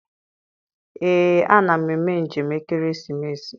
Ee, a na m eme njem ekeresimesi.